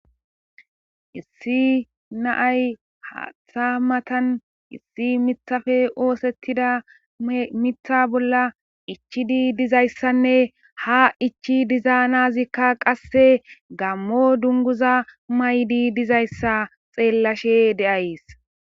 issi naay haatha matan issi mithafe oosettida mitha bolla ichidi dizayssanne ha ichi dizaanazikka qasse gammo dunguza maydi dizayssa xeellashe deays